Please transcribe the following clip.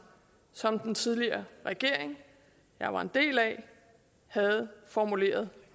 som den tidligere regering jeg var en del af havde formuleret